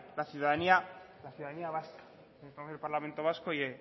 la ciudadanía la ciudadanía vasca parlamento vasco y